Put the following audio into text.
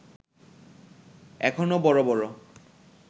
এখনো বড় বড়